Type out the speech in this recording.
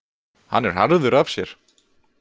Hann er harður af sér